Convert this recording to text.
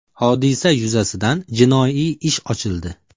Hodisa yuzasidan jinoiy ish ochildi.